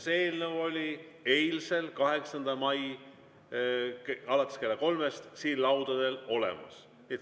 See eelnõu oli eile, 8. mail alates kella kolmest siin laudadel olemas.